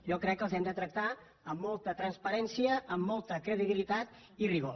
jo crec que les hem de tractar amb molta transparència amb molta credibilitat i rigor